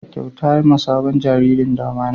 Bada kyauta ma sabon jariri damane